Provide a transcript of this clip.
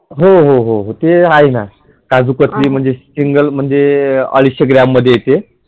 होहोहो हे आहे ना काजु कतली मध्ये Single मध्ये अडीचशे ग्रॅममध्ये येते